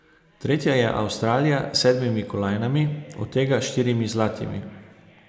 Tretja je Avstralija s sedmimi kolajnami, od tega štirimi zlatimi.